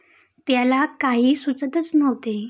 त्याला काही सुचतच नव्हते.